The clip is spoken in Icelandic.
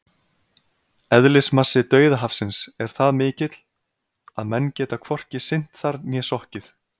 Eðlismassi Dauðahafsins er það mikill að menn geta hvorki synt þar né sokkið!